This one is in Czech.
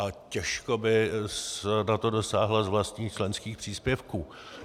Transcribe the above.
A těžko by na to dosáhla z vlastních členských příspěvků.